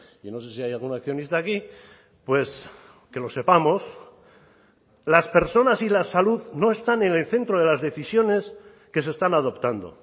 yo no sé si hay algún accionista aquí pues que lo sepamos las personas y la salud no están en el centro de las decisiones que se están adoptando